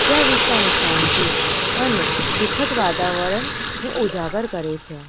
જે આ વિસ્તારની શાંતિ અને સુખદ વાતાવરણ ને ઉજાગર કરે છે.